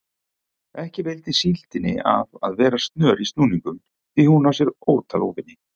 Ekki veitir síldinni af að vera snör í snúningum því hún á sér ótal óvini.